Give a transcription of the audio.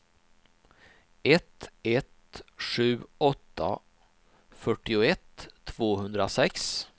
ett ett sju åtta fyrtioett tvåhundrasex